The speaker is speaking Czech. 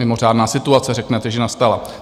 Mimořádná situace, řeknete, že nastala.